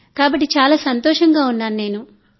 కాబట్టి నేను చాలా సంతోషంగా ఉన్నాను